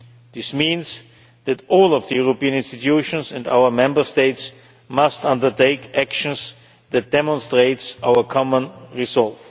This means that all of the European institutions and our Member States must undertake actions that demonstrate our common resolve.